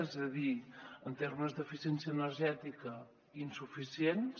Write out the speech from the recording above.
és a dir en termes d’eficiència energètica insuficients